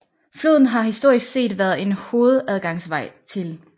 Floden har historisk set været en hovedadgangsvej til